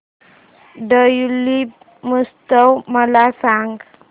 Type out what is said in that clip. tulip महोत्सव मला सांग